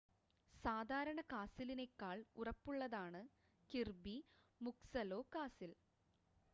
സാദാരണ കാസിലിനേക്കാൾ ഉറപ്പുള്ളതാണ് കിർബി മുക്സലൊ കാസിൽ